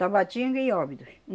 Tabatinga e Óbidos.